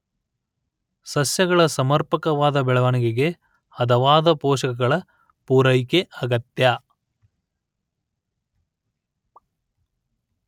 ಸಸ್ಯಗಳ ಸಮರ್ಪಕವಾದ ಬೆಳೆವಣಿಗೆಗೆ ಹದವಾದ ಪೋಷಕಗಳ ಪೂರೈಕೆ ಅಗತ್ಯ